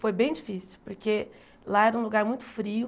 Foi bem difícil, porque lá era um lugar muito frio,